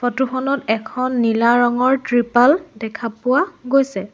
ফটোখনত এখন নীলা ৰঙৰ তৃপাল দেখা পোৱা গৈছে।